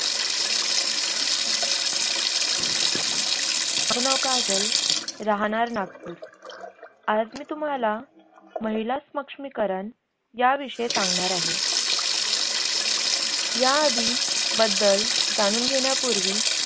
माझ नाव काजल, राहनार नागपूर. आज मी तुम्हाला महिला स्मक्ष्मीकरन या विषय सांगनार आहे. या आधी, बद्दल, जनून घेण्यापूर्वी